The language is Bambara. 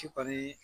Sipu